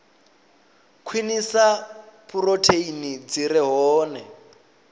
khwinisa phurotheini dzi re hone